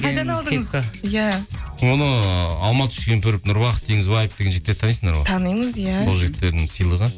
қайдан алдыңыз кепка иә оны алмат түскентұрып нұрбақыт теңізбаева деген жігіттерді танисыңдар ғой танимыз иә сол жігіттердің сыйлығы